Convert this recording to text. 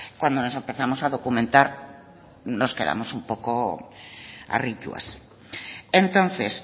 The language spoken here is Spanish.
cuando nos empezamos a documentar nos quedamos un poco harrituas entonces